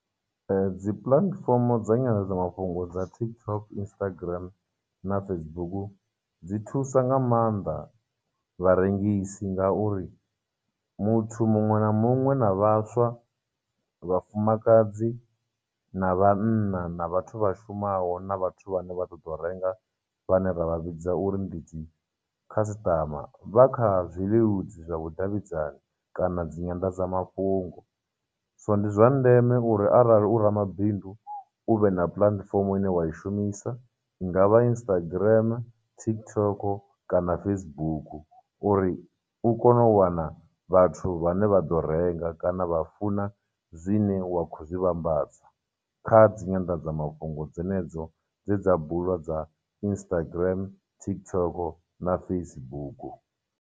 Dzi platform dza nyanḓadza mafhungo dza TikTok, Instagram, na Facebook dzi thusa nga maanḓa vharengisi ngauri muthu muṅwe na muṅwe na vhaswa, vhafumakadzi, na vhanna, na vhathu vha shumaho, na vhathu vhane vha ṱoḓou renga vhane ra vha vhidza uri ndi dzi customer vha kha zwileludzi zwa vhudavhidzani kana dzi nyanḓadzamafhungo. so ndi zwa ndeme uri arali u ramabindu u vhe na platform ine wa i shumisa, i nga vha Instagram, TikTok, kana Facebook uri u kone u wana vhathu vhane vha ḓo renga kana vha funa zwine wa khou zwi vhambadza kha dzi nyanḓadzamafhungo dzenedzo dze dza bulwa dza Instagram, TikTok, na Facebook.